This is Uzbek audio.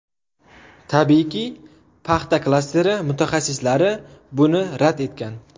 Tabiiyki, paxta klasteri mutaxassislari buni rad etgan.